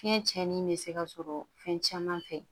Fiɲɛ cɛnin bɛ se ka sɔrɔ fɛn caman fɛ